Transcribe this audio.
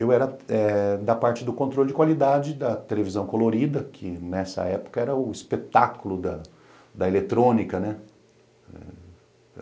Eu era eh da parte do controle de qualidade da televisão colorida, que nessa época era o espetáculo da da eletrônica, né?